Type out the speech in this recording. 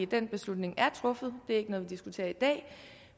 den beslutning er truffet det er ikke noget vi diskuterer i dag